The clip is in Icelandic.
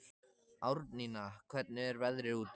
Árnína, hvernig er veðrið úti?